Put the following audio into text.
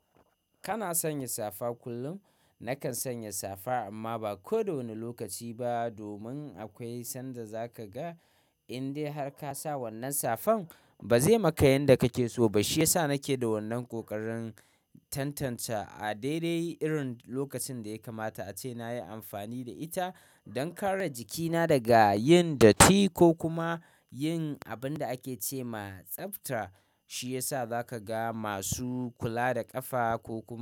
Kana sanya safa kullum? Nakan sanya safa amma ba kowane lokaci ba. Domin akwai sanda za ka ga indai har ka sa wannan safan ba zai maka yanda kake so ba. Shi ya sa nake da wannan ƙoƙarin tantance a daidai irin lokacin da ya kamata, ace nayi amfani da ita don kare jikina daga yin datti ko kuma yin abin da ake ce ma tsafta. Shi ya sa za ka ga masu kula da ƙafa ko kuma.